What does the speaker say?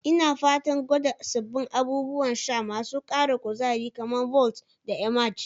Ina fatan gwada sabbin abubuwan sha masu ara kuzari, kamar "Vault" da "Emerge".